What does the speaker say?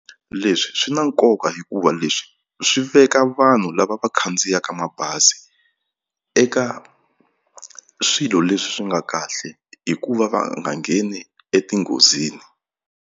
Leswi swi na nkoka hikuva leswi swi veka vanhu lava va khandziyaka mabazi eka swilo leswi swi nga kahle hikuva va nga ngheni etinghozini.